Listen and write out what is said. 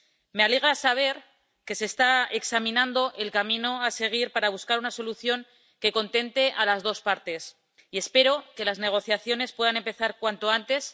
Me alegra saber que se está examinando el camino a seguir para buscar una solución que contente a las dos partes y espero que las negociaciones puedan empezar cuanto antes.